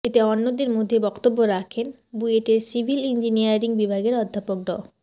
এতে অন্যদের মধ্যে বক্তব্য রাখেন বুয়েটের সিভিলি ইঞ্জিনিয়ারিং বিভাগের অধ্যাপক ড